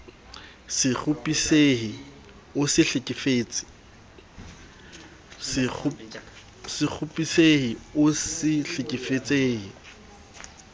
se kgopisehe o se hlekefetse